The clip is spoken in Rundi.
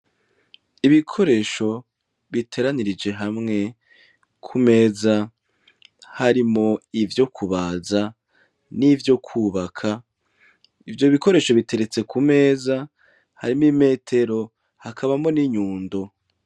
Ibikoresho biteranirije hamwe ku meza harimo ivyo kubaza n'ivyo kwubaka ivyo bikoresho biteretse ku meza harimo imetero hakabamo n'inyundo.